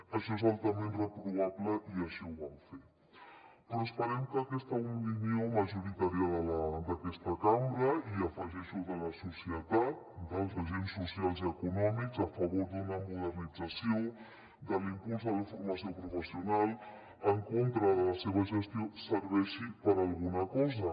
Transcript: això és altament reprovable i així ho vam fer però esperem que aquesta opinió majoritària d’aquesta cambra i hi afegeixo de la societat dels agents socials i econòmics a favor de la modernització de l’impuls de la formació professional en contra de la seva gestió serveixi per a alguna cosa